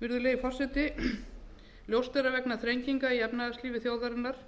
virðulegi forseti ljóst er að vegna þrenginga í efnahagslífi þjóðarinnar